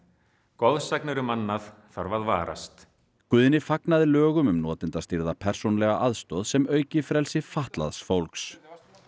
goðsagnir um annað þarf að varast Guðni fagnaði lögum um notendastýrða persónulega aðstoð sem auki frelsi fatlaðs fólks